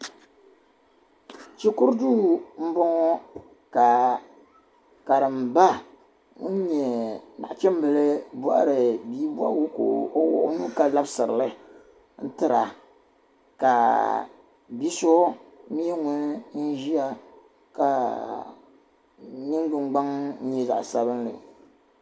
Shikuru duu n boŋɔ ka karimba ŋun nyɛ nachimbili bohari bia bohagu ka o wuhi o nuu ka labisiri li tira ka bia so mii ʒiya ka o ningbini gnaŋ nyɛ zaɣ sabinli